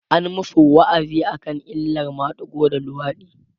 an masu wa'azi akan illan madigo da luwaɗi